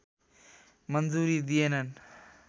मन्जुरी दिएनन्